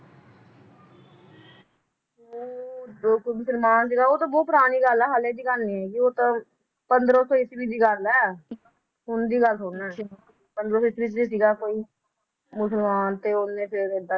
ਉਹ ਮੁਸਲਮਾਨ ਸੀਗਾ ਉਹ ਤਾਂ ਬਹੁਤ ਪੁਰਾਣੀ ਗੱਲ ਆ ਹੱਲੇ ਦੀ ਗੱਲ ਨੀ ਹੈਗੀ ਉਹ ਤਾਂ, ਪੰਦ੍ਰਹ ਸੌ ਈਸਵੀ ਦੀ ਗੱਲ ਏ ਹੁਣ ਦੀ ਗੱਲ ਥੋੜੀ ਨਾ ਏ ਪੰਦ੍ਰਹ ਸੌ ਈਸਵੀ ਚ ਸੀਗਾ ਕੋਈ, ਮੁਸਲਮਾਨ, ਤੇ ਓਹਨੇ ਫਿਰ ਏਦਾਂ